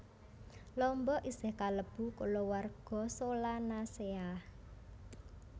Lombok isih kalebu kulawarga Solanaceae